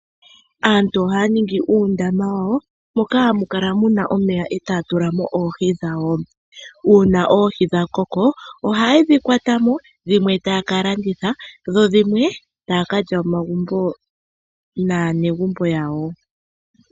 Aantu ohaya ningi uundama wawo moka hamu kala muna omeya etaya tula mo oohi dhawo. Uuna oohi dha koko ohaye dhi kwata mo, dhimwe taya ka landitha dho dhimwe taya ka lya momagumbo naanegumbo yawo.